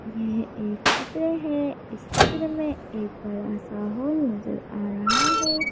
यह एक चित्र है इस चित्र में एक बड़ा सा होल नजर आ रहा है।